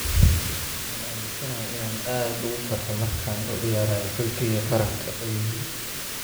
"Waan aaminsanahay inaan aad ugu farxo markaan u ciyaarayo xulkeyga qaranka," ayuu yiri.